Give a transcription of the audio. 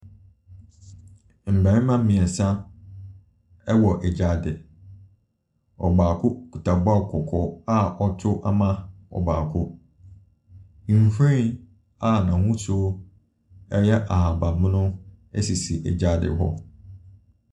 Mmarima mmeɛnsa wɔ gyaade. Ɛbaako kita ball kɔkɔɔ a ɔreto ama ɔbaako. Nhwiren a n'ahosuo yɛ ahabammono siosi gyaade hɔ.